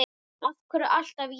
Af hverju alltaf ég?